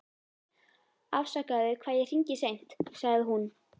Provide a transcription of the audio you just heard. Afsakaðu hvað ég hringi seint, sagði hún.